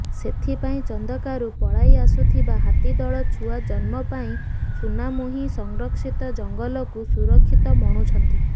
ସେଥିପାଇଁ ଚନ୍ଦକାରୁ ପଳାଇଆସୁଥିବା ହାତୀଦଳ ଛୁଆ ଜନ୍ମ ପାଇଁ ସୁନାମୁହିଁ ସଂରକ୍ଷିତ ଜଙ୍ଗଲକୁ ସୁରକ୍ଷିତ ମଣୁଛନ୍ତି